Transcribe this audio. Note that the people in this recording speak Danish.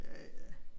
Ja ja